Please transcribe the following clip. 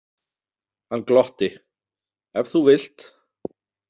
Hann glotti: Ef þú vilt.